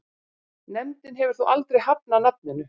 Nefndin hefur þó aldrei hafnað nafninu.